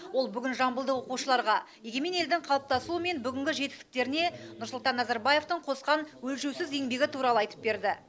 ол бүгін жамбылдық оқушыларға егемен елдің қалыптасуы мен бүгінгі жетістіктеріне нұрсұлтан назарбаевтың қосқан өлшеусіз еңбегі туралы айтып берді